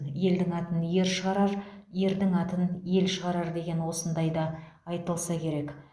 елдің атын ер шығарар ердің атын ел шығарар деген осындайға айтылса керек